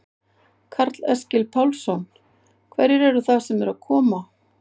Karl Eskil Pálsson: Hverjir eru það sem eru að koma?